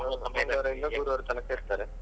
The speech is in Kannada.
ಮಂಗಳವಾರದಿಂದ ಬುಧವಾರ ತನಕ ಇರ್ತಾರೆ.